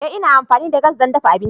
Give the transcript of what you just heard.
Ee ina amfani da gas don dafa abinci.